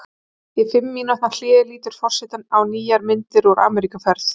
Í fimm mínútna hléi lítur forseti á nýjar myndir úr Ameríkuferð.